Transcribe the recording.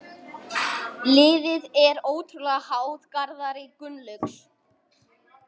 Liðið er ótrúlega háð Garðari Gunnlaugs.